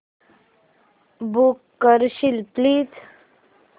book करशील please